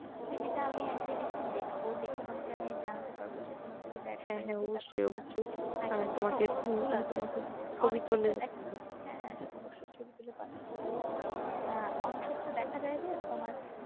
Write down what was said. CV টা আমি একদিন দেখবো তোমাকে আমি জানাতে পারবো যে তোমার CV তে হ্যাঁ অবশ্যই ছবি তুলে পাঠাতে পারো আহ অনেক ক্ষেত্রে দেখা যাই যে তোমার